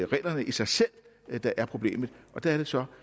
reglerne i sig selv der er problemet der er det så